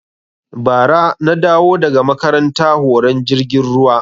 Ba ra na dawo daga makaranta horon jirgin ruwa